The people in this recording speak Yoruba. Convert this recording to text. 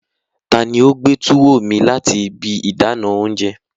Tani o gbe tuwo mi lati ibi idana ounjẹ?